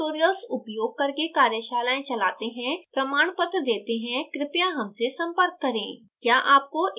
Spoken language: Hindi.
हम spoken tutorials उपयोग करके कार्यशालाएं चलाते हैं प्रमाणपत्र देते हैं क्रपया हमसे संपर्क करें